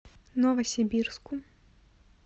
новосибирску